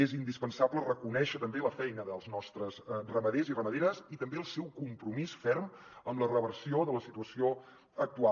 és indispensable reconèixer també la feina dels nostres ramaders i ramaderes i també el seu compromís ferm amb la reversió de la situació actual